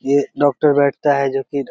ये डॉक्टर बैठता है जो की --